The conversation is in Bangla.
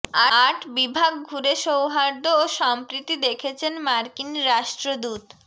আট বিভাগ ঘুরে সৌহার্দ্য ও সম্প্রীতি দেখেছেন মার্কিন রাষ্ট্রদূত